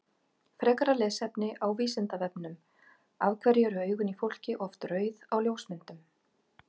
Frekara lesefni á Vísindavefnum Af hverju eru augun í fólki oft rauð á ljósmyndum?